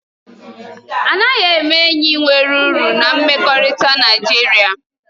A naghị eme enyi nwere uru na mmekọrịta Naịjirịa